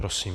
Prosím.